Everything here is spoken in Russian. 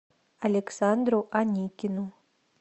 александру аникину